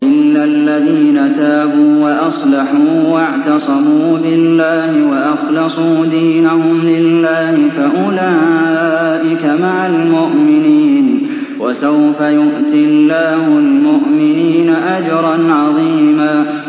إِلَّا الَّذِينَ تَابُوا وَأَصْلَحُوا وَاعْتَصَمُوا بِاللَّهِ وَأَخْلَصُوا دِينَهُمْ لِلَّهِ فَأُولَٰئِكَ مَعَ الْمُؤْمِنِينَ ۖ وَسَوْفَ يُؤْتِ اللَّهُ الْمُؤْمِنِينَ أَجْرًا عَظِيمًا